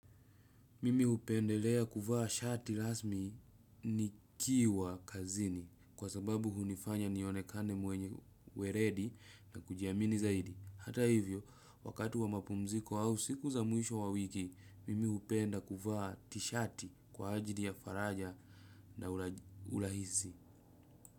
Mimi hupendelea kuvaa shati rasmi nikiwa kazini kwa sababu hunifanya nionekane mwenye uweledi na kujiamini zaidi. Hata hivyo, wakati wa mapumziko au siku za mwisho wa wiki, mimi hupenda kuvaa tishati kwa ajili ya faraja na urahisi.